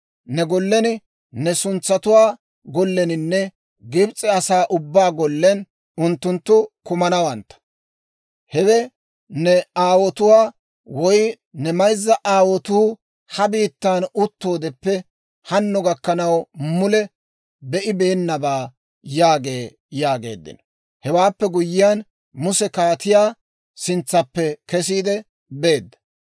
Ne gollen ne suntsatuwaa golleninne Gibs'e asaa ubbaa gollen unttunttu kumanawantta; hewe ne aawotuwaa, woy ne mayza aawotuu ha biittaan uttoodeppe hanno gakkanaw mule be'ibeenabaa› yaagee» yaageeddino. Hewaappe guyyiyaan Muse kaatiyaa sintsaappe kesiide beedda.